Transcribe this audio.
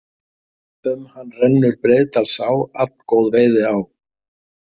Um hann rennur Breiðdalsá, allgóð veiðiá.